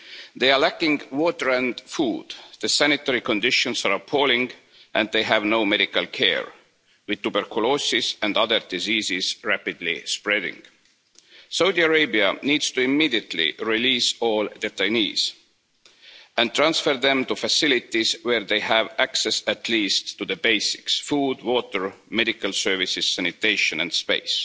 They lack water and food, the sanitary conditions are appalling and they have no medical care, with tuberculosis and other diseases rapidly spreading. Saudi Arabia needs to immediately release all detainees and transfer them to facilities where they have access at least to the basics food, water, medical services, sanitation and space.